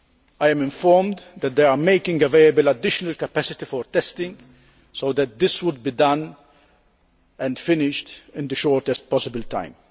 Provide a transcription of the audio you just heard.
I am informed that they are making available additional capacity for testing so that this is done and finished in the shortest possible time.